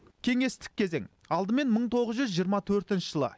кеңестік кезең алдымен мың тоғыз жүз жиырма төртінші жылы